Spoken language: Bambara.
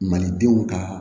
Malidenw ka